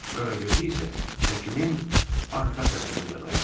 Qaragözü isə şəklin arxa tərəfində dayandırdı.